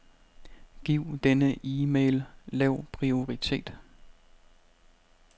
Giv denne e-mail lav prioritet.